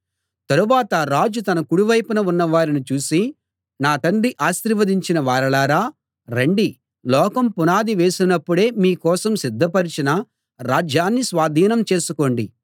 తరువాత రాజు తన కుడి వైపున ఉన్నవారిని చూసి నా తండ్రి ఆశీర్వదించిన వారలారా రండి లోకం పునాది వేసినపుడే మీ కోసం సిద్ధపరిచిన రాజ్యాన్ని స్వాధీనం చేసుకోండి